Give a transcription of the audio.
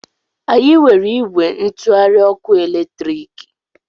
Anyị nwere ìgwè ntụgharị ọkụ eletriki.